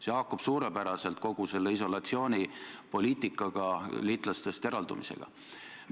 See haakub suurepäraselt kogu selle isolatsioonipoliitikaga, liitlastest eraldumisega.